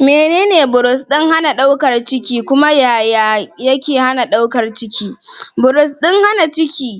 menene burus ɗin hana ɗaukar ciki kuma yaya yake hana ɗaukar ciki? burus ɗin hana ciki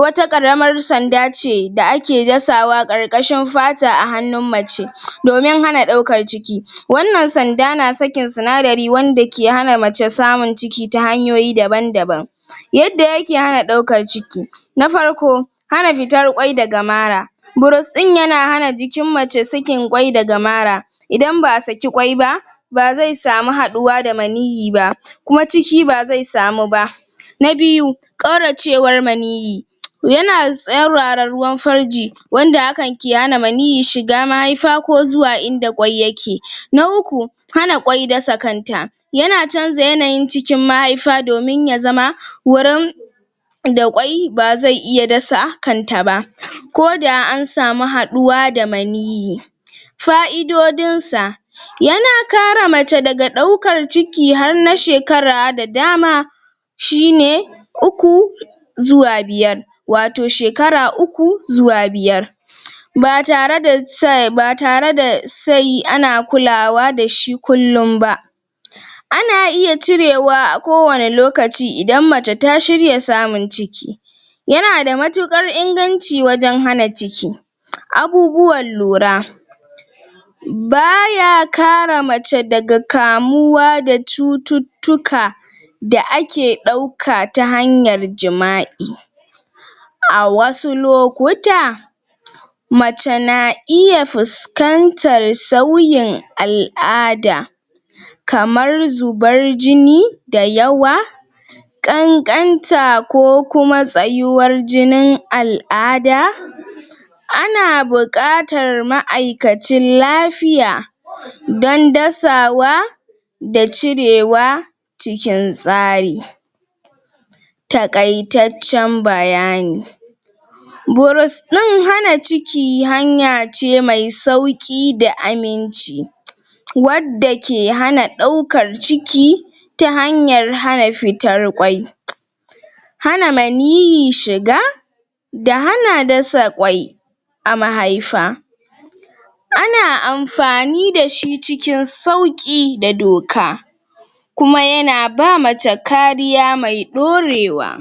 wata ƙaramar sanda ce da ake dasawa ƙarƙashin fata a hanun mace domin hana ɗaukar ciki wanan sanda na sakin sinadari wanda ke hana mace samun ciki ta hayoyi daban daban yadda yake hana ɗaukar ciki na farko hana fitar ƙwai daga mara burus ɗin yana hana jikin mace sakin kƙwai daga mara idan ba'a saki ƙwai ba ba zai samu haɗuwa da maniyyi ba kuma ciki bazai samu ba na biyu ƙauracewar maniyyi yana tsayarwa da ruwan farji wanda ke hana maniyyi shiga mahaifa ko inda ƙwai yake na uku hana ƙwai dasa kanta yana canza yanayin cikin mahaifa domin ya zama wurin da ƙwai bazai iya dasa kanta ba koda an samu haduwa da maiyyi fa'idodin sa yana kare mace daga ɗaukar ciki har na shekara da dama shine uku zuwa biyar wato shekara uku zuwa biyar batare se um batare da se ana kulawa da shi kullun ba ana iya cirewa a kowani lokaci idan mace ta shirya samun ciki yana da matukar inganci wajan hana ciki abubuwan lura baya kare mace daga kamuwa da cutu tuka da ake ɗauka ta hanyan jima'i a wasu lokuta mace na iya fiskantan sauyin al'ada kamar zubar jini da yawa ƙanƙanta ko kuma tsayuwar jini al'ada ana bukatar ma'aikacin lafiya don dasawa da cirewa c[kin tsari takaitaccen bayani burus ɗin hana ciki hanya ce mai sauƙin da aminci wadda ke hana ɗaukar ciki ta hanyar hana fitar ƙwai hana majiyi shiga da hana dasa ƙwai a mahaifa ana anfani dashi cikin sauƙi da doka kuma yana ba mace kariya mai ɗorewa